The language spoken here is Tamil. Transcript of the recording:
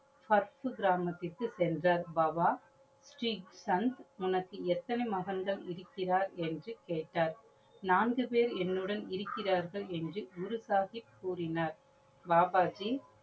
first கிராமத்திற்கு சென்றார் பாபா ஸ்ரீ சந்த் உனக்கு எத்தனை மகன்கள் இருக்கிறார் என்று கேட்டார். நான்கு பேர் என்னுடன் இருக்கிறார்கள் என்று குரு சாஹிப் கூறினார். பாபாஜி